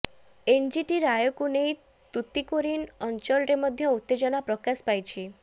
NGT ରାୟକୁ ନେଇ ତୁତିକୋରିନ୍ ଅଞ୍ଚଳରେ ମଧ୍ୟ ଉତ୍ତେଜନା ପ୍ରକାଶ ପାଇଛି